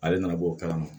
Ale nana bɔ o kalama